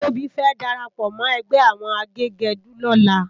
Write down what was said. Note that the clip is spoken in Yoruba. Tobi fè dàrápò mò ègbè áwòn àgégèdú lòlá